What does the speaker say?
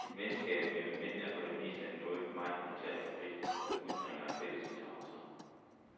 Et venskab mellem mænd er for det meste noget meget kontant og frit, som udspringer af fælles interesser.